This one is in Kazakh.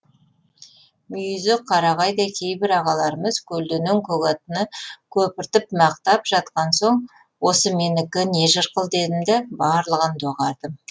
мүйізі қарағайдай кейбір ағаларымыз көлденең көк аттыны көпіртіп мақтап жатқан соң осы менікі не жырқыл дедім да барлығын доғардым